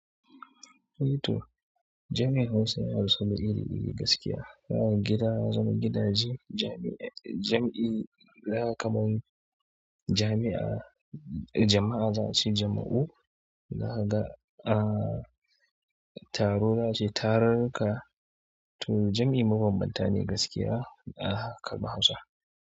To, jam'i Hausa ya rasu da iri-iri gaskiya. Zakaga gida ya zama gidaje, jam'i zakaga kaman jami'a, jama'a za'ace jama'u, zakaga ah, taro yace tarurruka. To jam'i mabanbanta ne gaskiya a kalmar Hausa.